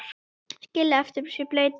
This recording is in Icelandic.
Skilja eftir sig bleytu.